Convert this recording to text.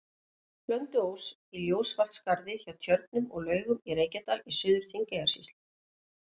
Blönduós, í Ljósavatnsskarði hjá Tjörnum og Laugum í Reykjadal í Suður-Þingeyjarsýslu.